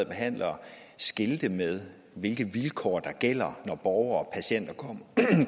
behandlere skilte med hvilke vilkår der gælder når borgere og patienter